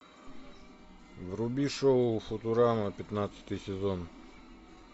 вруби шоу футурама пятнадцатый сезон